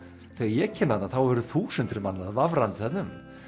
þegar ég kem þarna eru þúsundir manna vafrandi þarna um